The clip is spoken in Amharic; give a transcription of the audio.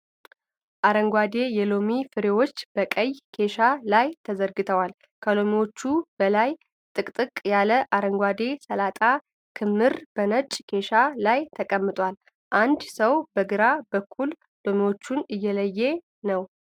አረንጓዴ የሎሚ ፍሬዎች በቀይ ኬሻ ላይ ተዘርግተዋል። ከሎሚዎቹ በላይ ጥቅጥቅ ያለ የአረንጓዴ ሰላጣ ክምር በነጭ ኬሻ ላይ ተቀምጧል። አንድ ሰው በግራ በኩል ሎሚዎችን እየለየ ነው።